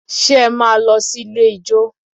Ṣe é máa lọ sí ilé ijó?